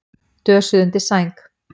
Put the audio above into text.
Dösuð undir sæng.